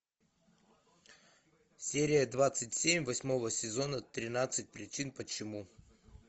серия двадцать семь восьмого сезона тринадцать причин почему